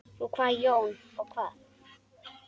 Og hvað Jón, og hvað?